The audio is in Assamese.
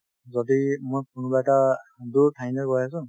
যদি মোৰ কোনোবা এটা দূৰ ঠাইলৈ গৈ আছো